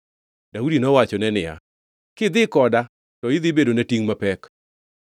Daudi nowachone niya, “Kidhi koda to idhi bedona tingʼ mapek.